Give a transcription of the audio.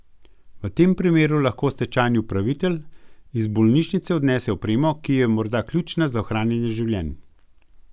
V tem primeru lahko stečajni upravitelj iz bolnišnice odnese opremo, ki je morda ključna za ohranjanje življenj.